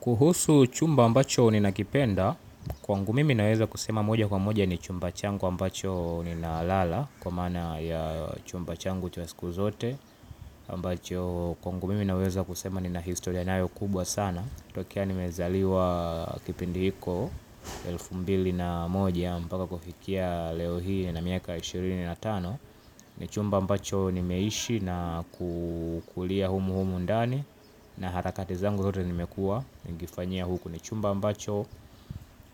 Kuhusu chumba ambacho ninakipenda, kwangu mimi naweza kusema moja kwa moja ni chumba changu ninalala, kwa maana ya chumba changu cha siku zote, ambacho kwangu mimi naweza kusema nina historia nayo kubwa sana. Tangu nimezaliwa kipindi hicho elfu mbili na moja, mpaka kufikia leo hii nina miaka ishirini na tano, ni chumba ambacho nimeishi na kukulia humu humu ndani. Na harakati zangu zote nimekuwa nikifanyia huku. Ni chumba ambacho,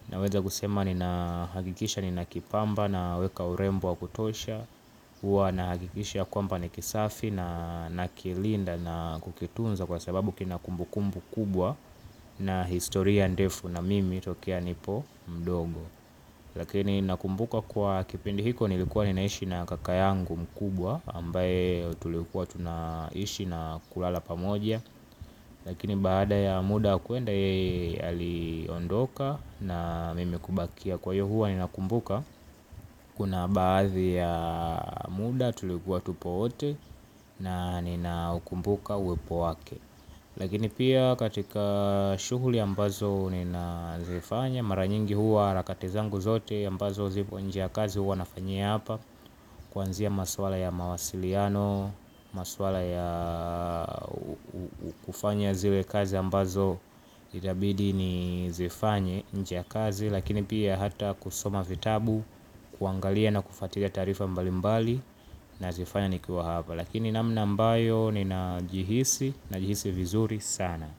naweza kusema ninahakikisha ninakipamba, naweka urembo wa kutosha. Huwa nahakikisha kwamba ni kisafi, na nakilinda na kukitunza kwa sababu kina kumbukumbu kubwa. Na historia ndefu na mimi tokea nipo mdogo. Lakini nakumbuka kwa kipindi hicho nilikuwa ninaishi na kaka yangu mkubwa ambaye tulikuwa tunaishi na kulala pamoja. Lakini baada ya muda kwenda, aliondoka na mimi kubakia kwa hiyo huwa ninakumbuka. Kuna baadhi ya muda tulikuwa tupo wote, na ninakumbuka uwepo wake. Lakini pia katika shughuli ambazo ninazifanya mara nyingi, huwa harakati zangu zote ambazo zipo nje ya kazi huwa nafanyia hapa. Kuanzia maswala ya mawasiliano. Masuala ya kufanya zile kazi ambazo itabidi nizifanye nje ya kazi. Lakini pia hata kusoma vitabu, kuangalia na kufuatilia taarifa mbalimbali nazifanya nikiwa hapa. Lakini namna ambayo ninajihisi, najihisi vizuri sana.